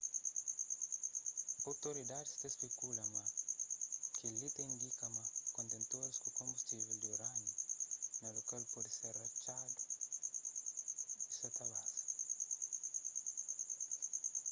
outoridadis ta spekula ma kel-li ta indika ma kontentoris ku konbustível di urániu na lokal pode ter ratxadu y sa ta baza